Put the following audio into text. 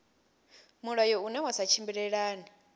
mulayo une wa sa tshimbilelane